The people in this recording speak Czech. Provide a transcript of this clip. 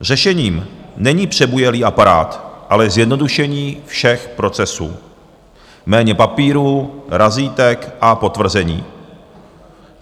Řešením není přebujelý aparát, ale zjednodušení všech procesů - méně papírů, razítek a potvrzení.